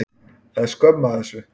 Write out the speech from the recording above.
Það er skömm af þessu.